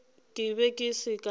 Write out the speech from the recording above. ke be ke se ka